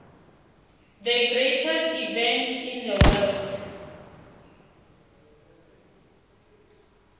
the greatest event in the world